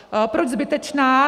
Proč zbytečná?